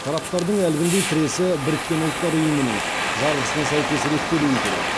тараптардың әлгіндей тіресі біріккен ұлттар ұйымының жарғысына сәйкес реттелуі керек